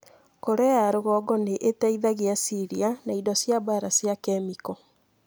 Korea ya Rũgongo nĩ ĩteithagia Ciria na indo cia mbaara cia kemiko.